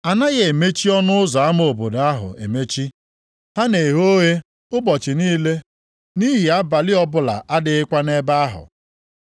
A naghị emechi ọnụ ụzọ ama obodo ahụ emechi. Ha na-eghe oghe ụbọchị niile nʼihi abalị ọbụla adịghịkwa nʼebe ahụ.